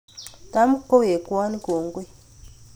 Tam kowekwon kongoi